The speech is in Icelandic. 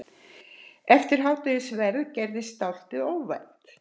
Eftir hádegisverðinn gerðist dálítið óvænt.